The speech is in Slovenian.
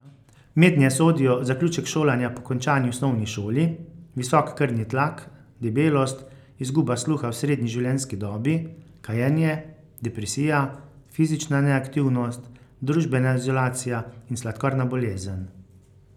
Mednje sodijo zaključek šolanja po končani osnovni šoli, visok krvni tlak, debelost, izguba sluha v srednji življenjski dobi, kajenje, depresija, fizična neaktivnost, družbena izolacija in sladkorna bolezen.